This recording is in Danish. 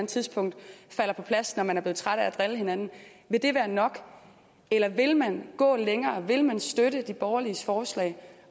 tidspunkt falder på plads når man er blevet trætte af at drille hinanden vil det være nok eller vil man gå længere vil man støtte de borgerliges forslag